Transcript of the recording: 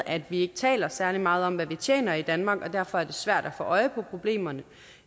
at vi ikke taler særlig meget om hvad vi tjener i danmark og derfor er det svært at få øje på problemerne